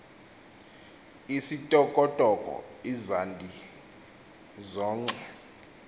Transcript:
isithokothoko izandi zoonkxwe